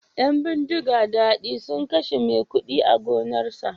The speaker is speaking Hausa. Yan bindiga sun kashe maikudi a gonarsa